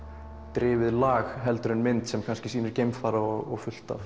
drifið lag heldur en mynd sem sýnir geimfara og fullt af